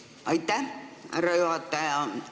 Aitäh, härra juhataja!